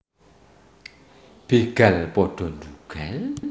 Begal pada ndhugal